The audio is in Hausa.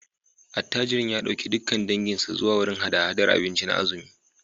Attajirin ya dauki dukkan danginsa zuwa wurin hada-hadar abinci na azumi